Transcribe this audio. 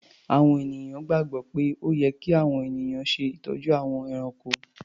Àwọn ènìyàn gbàgbọ́ pé ó yẹ kí àwọn ènìyàn ṣe ìtọ́jú àwọn ẹranko.